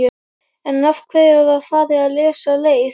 En af hverju var farið þessa leið?